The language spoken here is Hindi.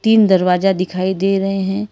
तीन दरवाजा दिखाई दे रहे हैं।